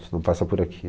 Se não passa por aqui.